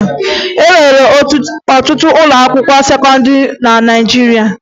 E nwere ọtụtụ ụlọakwụkwọ sekọndịrị na Naịjirịa